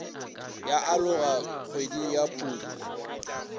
ya aloga kgweding ya phuphu